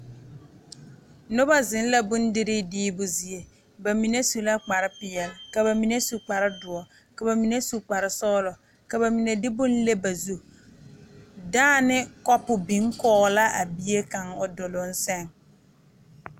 Noba zeŋ la bondire kaŋa bamine su la kpare peɛle ka bamine su kpare doɔre ka bamine su kpare sɔglɔ ka bamine de boŋ le ba zu dãã ne kopu biŋ la a duluŋ saŋ.